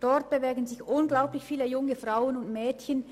Dort bewegen sich unglaublich viele junge Frauen und Mädchen.